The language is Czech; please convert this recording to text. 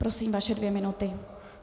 Prosím, vaše dvě minuty.